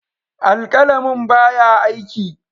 Alƙalamin ba ya aiki.